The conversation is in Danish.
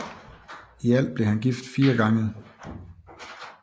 I alt blev han gift fire gange